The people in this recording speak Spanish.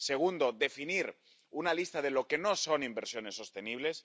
En segundo lugar, definir una lista de lo que no son inversiones sostenibles.